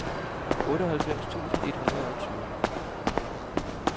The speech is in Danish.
otteoghalvfems tusind et hundrede og tyve